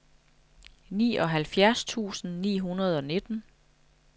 nioghalvfjerds tusind ni hundrede og nitten